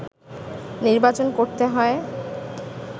নির্বাচন করতে হয়